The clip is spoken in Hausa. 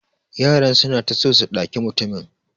Yaran suna ta so su daki mutumin.